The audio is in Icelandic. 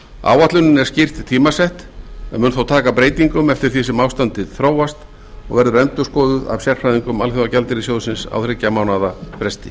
áætlunin er skýrt tímasett en mun þó taka breytingum eftir því sem ástandið þróast og verður endurskoðuð af sérfræðingum alþjóðagjaldeyrissjóðsins á þriggja mánaða fresti